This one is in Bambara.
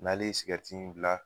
N'ale sigɛriti in bila